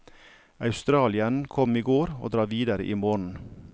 Australieren kom i går og drar videre i morgen.